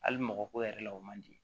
Hali mɔgɔ ko yɛrɛ la o man di